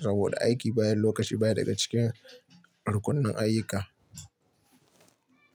saboda aiki bayan lokaci baya daga cikin rukunin ayyuka.